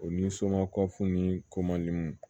O ni soma kɔfun ni komanin